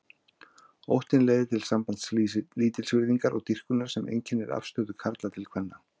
Óttinn leiðir til samblands lítilsvirðingar og dýrkunar sem einkennir afstöðu karla til kvenna.